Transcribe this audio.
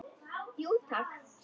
Jú, takk.